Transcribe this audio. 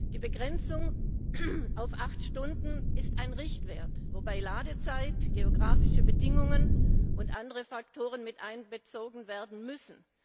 Die Begrenzung auf acht Stunden ist ein Richtwert, wobei Ladezeit, geografische Bedingungen und andere Faktoren miteinbezogen werden müssen.